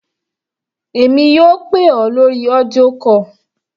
Èmi yóò pè ọ́ lórí audio call.